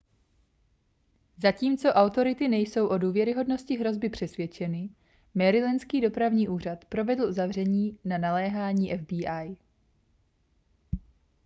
zatímco autority nejsou o důvěryhodnosti hrozby přesvědčeny marylandský dopravní úřad provedl uzavření na naléhání fbi